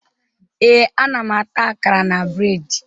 Ee, ana m ata akara na breedi